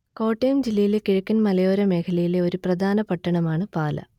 കോട്ടയം ജില്ലയിലെ കിഴക്കൻ മലയോര മേഖലയിലെ ഒരു പ്രധാന പട്ടണമാണ് പാലാ